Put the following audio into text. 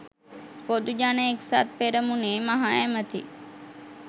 පොදු ජන එක්සත් පෙරමුණේ මහ ඇමැති